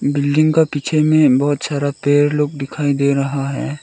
Building का पीछे में बहोत सारा पेड़ लोग दिखाई दे रहा है।